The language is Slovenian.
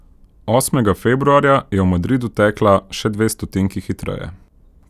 Osmega februarja je v Madridu tekla še dve stotinki hitreje.